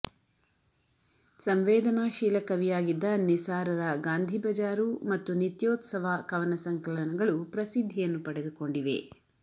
ಸಂವೇದನಾಶೀಲ ಕವಿಯಾಗಿದ್ದ ನಿಸಾರರ ಗಾಂಧಿಬಜಾರು ಮತ್ತು ನಿತ್ಯೋತ್ಸವ ಕವನ ಸಂಕಲನಗಳು ಪ್ರಸಿದ್ಧಿಯನ್ನು ಪಡೆದುಕೊಂಡಿವೆ